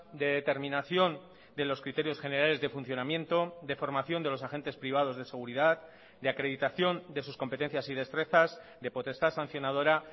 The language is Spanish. de determinación de los criterios generales de funcionamiento de formación de los agentes privados de seguridad de acreditación de sus competencias y destrezas de potestad sancionadora